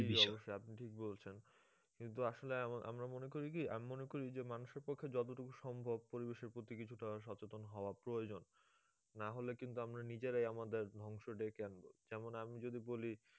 জি অবশ্যই আপনি ঠিক বলেছেন কিন্তু আসলে আমরা মনে করে কি, আমি মনে করি যে মানুষের পক্ষে যতটুকু সম্ভব পরিবেশের প্রতি কিছুটা সচেতন হওয়া প্রয়োজন না হলে কিন্তু আমরা নিজেরাই আমাদের ধ্বংস ডেকে আনবো, যেমন আমি যদি বলি